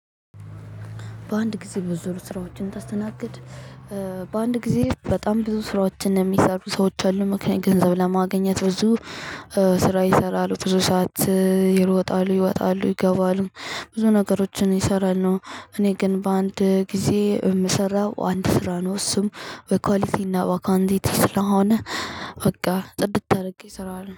በአንድ ጊዜ ብዙ ስራዎችን ብታስተናግድ። በአንድ ጊዜ በጣም ብዙ ስራዎችን የሚሰሩ ሰዎች አሉ ምክንያቱም ገንዘብ ለማግኘት ብዙ ስራ ይሰራሉ ብዙ ሰዓት ይሮጣሉ ይወጣሉ ይገባሉ። ብዙ ነገሮችን ይሰራሉ። እኔ ግን በአንድ ጊዜ የምሰራው አንድ ስራ ነው እሱም በኳሊቲና በኳንቲቲ ስለሆነ። በቃ ጽድት አድርጌ እሰራለሁ